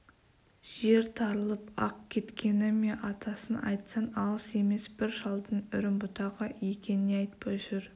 жер тарылып ақ кеткені ме атасын айтсаң алыс емес бір шалдың үрімбұтағы екен не жетпей жүр